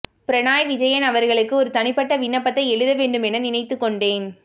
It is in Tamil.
பிணராய் விஜயன் அவர்களுக்கு ஒரு தனிப்பட்ட விண்ணப்பத்தை எழுதவேண்டும் என நினைத்துக்கொண்டேன்